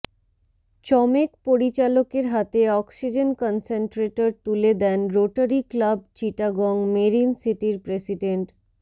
চমেক পরিচালকের হাতে oxygen concentrator তুলে দেন রোটারি ক্লাব চিটাগং মেরিন সিটির প্রেসিডেন্ট